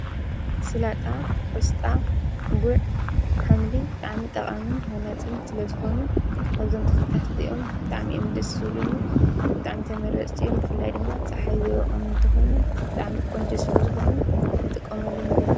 ስላጣ ቆስጣ ጕዕ ኃምሊ ጠዕሚ ጠቓንን ሓናጽን ስለ ዝኾኑ ከዞም ተኽልታት እዚኦም ጠዕሚእምድሱሉኒ ጠዕምተመረጽቲዮም ብፍላይ ድማ ፀሓይ ዘይውዖም እንተ ኾይኖም ጠዕሚ ቆንጀ ስለ ዝኾኑ ንጥቆምኣሎም ይግሉ